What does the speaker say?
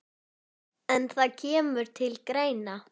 En það kemur til greina.